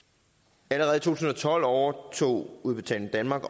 allerede tusind og tolv overtog udbetaling danmark